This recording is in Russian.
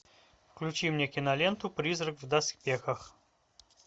включи мне киноленту призрак в доспехах